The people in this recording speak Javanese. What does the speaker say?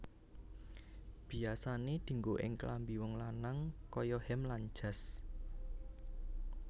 Biasane dianggo ing klambi wong lanang kaya hem lan jas